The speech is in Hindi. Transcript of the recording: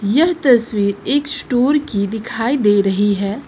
यह तस्वीर एक स्टोर की दिखाई दे रही है।